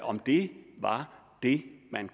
om det var det man